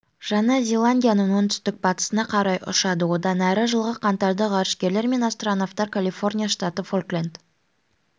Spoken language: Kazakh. жаңа зеландияның оңтүстік-батысына қарай ұшады одан әрі жылғы қаңтарда ғарышкерлер мен астронавтар калифорния штаты фолкленд